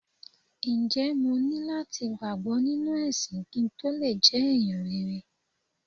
Ǹjẹ́ mo ní láti gbàgbọ́ nínú ẹ̀sìn kí n tó le jẹ́ ẹ̀yàn rere?